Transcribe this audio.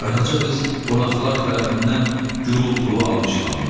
Qaraca qız qonaqlar tərəfindən gurultulu alqışlandı.